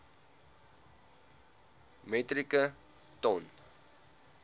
metrieke ton